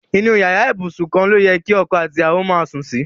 Inu iyara ibusun kan lo ye ki oko ati iyawo maa sun si